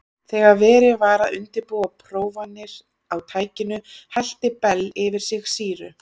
Þegar verið var að undirbúa prófanir á tækinu hellti Bell yfir sig sýru.